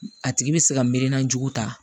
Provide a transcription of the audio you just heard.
A tigi bɛ se ka miiri najugu ta